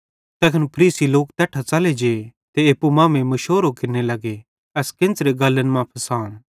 तैखन फरीसी लोक तैट्ठां च़ले जे ते एप्पू मांमेइं मुशोरो केरने लग्गे एस केन्च़रे गल्लन मां फसाम